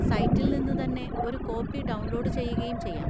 സൈറ്റിൽ നിന്ന് തന്നെ ഒരു കോപ്പി ഡൗൺലോഡ് ചെയ്യുകയും ചെയ്യാം.